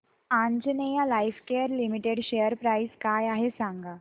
Anjaneya Lifecare limited share price काय आहे सांगा